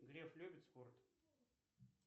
греф любит спорт